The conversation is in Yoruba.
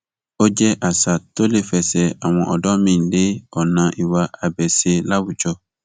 ó jẹ àṣà tó lè fẹsẹ àwọn ọdọ míín lé ọnà ìwà abèṣe láwùjọ